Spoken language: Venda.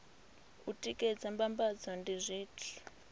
u tikedza mbambadzo ndi zwithu